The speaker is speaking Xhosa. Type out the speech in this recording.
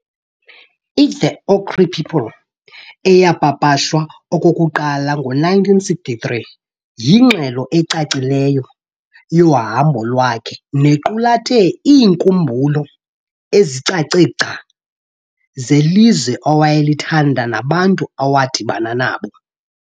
i'The Ochre People' eyapapashwa okokuqala ngo-1963 yingxelo ecacileyo yohambo lwakhe nequlathe iinkumbulo ezicace gca zelizwe awayelithanda nabantu awadibana nabo.